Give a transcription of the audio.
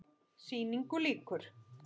Sýningu lýkur.